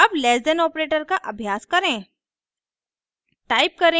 अब less than operator का अभ्यास करें